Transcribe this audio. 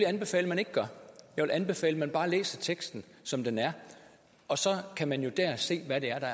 anbefale man ikke gør jeg vil anbefale at man bare læser teksten som den er og så kan man jo der se